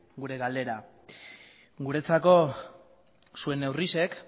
gure galdera guretzako zuen neurriak